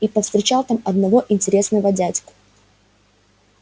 и повстречал там одного интересного дядьку